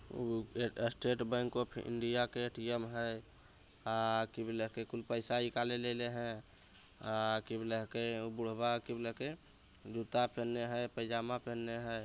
Estate Bank of India के ATM है पैसा निकाले ले अले है बुरभा जूता पेन्ने हैं पैजामा पेन्ने हैं।